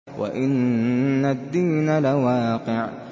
وَإِنَّ الدِّينَ لَوَاقِعٌ